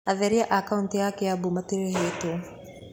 Atheria a kauntĩ ya Kiambu matirĩhĩtwo.